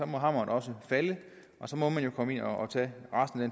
må hammeren også falde og så må man jo komme ind og tage resten af